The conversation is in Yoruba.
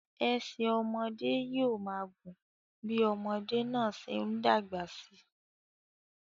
Ẹsẹ̀ ọmọdé yóò máa gùn bí ọmọdé náà ṣe ń dàgbà sí i.